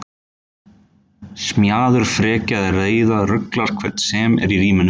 Smjaður, frekja eða reiði ruglar hvern sem er í ríminu.